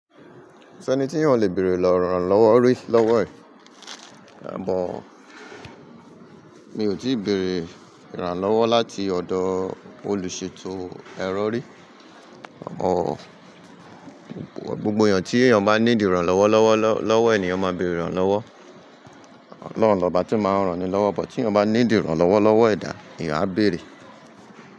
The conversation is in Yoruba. Ko sẹ́ni tí èèyàn o le bẹ̀ẹ̀rẹ̀ lranlọ́wọ́ rí lọ́wọ́ ẹ̀, àmọ mi ò tíì béèrè ìrànlọ́wọ́ láti ọ̀dọ̀ olùṣètò ẹ̀rọ rí. Gbogbo yen tí èèyàn bá need irànlọ́wọ́ lọ́wọ́ lọ́wọ́ ènìyàn máa béèrè ìrànlọ́wọ́. Ọlọ́run lọ́ba tí máa ń ràn ni lọ́wọ́, but tí èèyàn bá ní dìí irànlọ́wọ́ lọ́wọ́ ẹ̀dá, eeyan á béèrè.